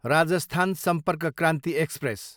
Rajasthan Sampark Kranti express